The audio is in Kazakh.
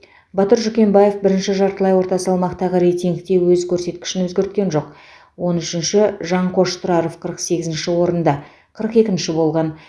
батыр жүкембаев бірінші жартылай орта салмақтағы рейтингте өз көрсеткішін өзгерткен жоқ он үшінші жанқош тұраров қырық сегізінші орында қырық екінші болған